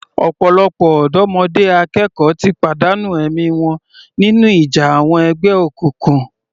Ọ̀pọ̀lọpọ̀ ọ̀dọ́mọdé akẹ́kọ̀ọ́ ti pàdánù ẹ̀mí wọn nínú ìjà àwọn ẹgbẹ́ òkùnkùn.